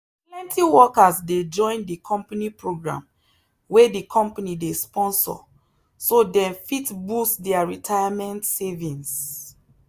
plenty workers dey join the company program wey the company dey sponsor so dem fit boost their retirement savings.